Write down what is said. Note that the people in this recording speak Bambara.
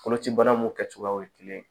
Koloci bana mun kɛcogoyaw ye kelen